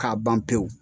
K'a ban pewu